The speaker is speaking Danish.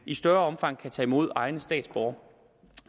i større omfang kan tage imod egne statsborgere